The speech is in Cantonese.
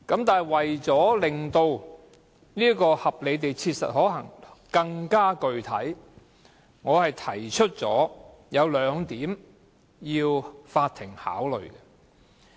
不過，為令合理地切實可行更具體，我會提出兩點供法院考慮。